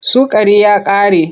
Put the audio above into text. Sukari ya ƙare.